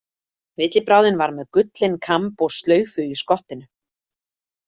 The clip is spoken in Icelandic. Villibráðin var með gullinn kamb og slaufu í skottinu.